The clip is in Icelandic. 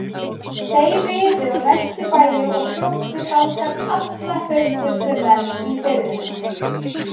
Þeir riðu á næstu bæi og sóttu þangað alla hraustustu menn í firðinum.